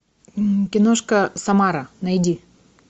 киношка самара найди